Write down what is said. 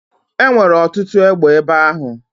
E nwere ọtụtụ egbe ebe ahụ?